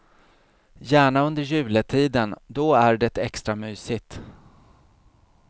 Gärna under juletiden, då är det extra mysigt.